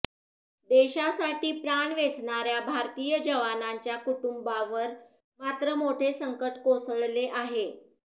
देशासाठी प्राण वेचणाऱ्या भारतीय जवानांच्या कुटुंबांवर मात्र मोठे संकट कोसळले आहे